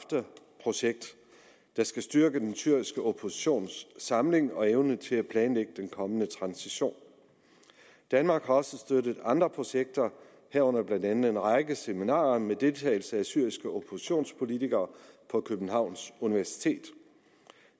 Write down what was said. projekt der skal styrke den syriske oppositions samling og evne til at planlægge den kommende transition danmark har også støttet andre projekter herunder blandt andet en række seminarer med deltagelse af syriske oppositionspolitikere på københavns universitet